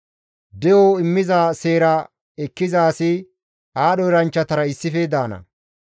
De7o immiza seera ekkiza asi aadho eranchchatara issife daana.